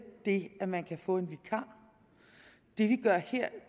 det at man kan få en vikar det vi gør her